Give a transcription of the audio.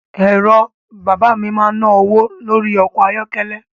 Ẹ̀rọ bàbá mi ń ná owó lórí ọkọ̀ ayọ́kẹ́lẹ́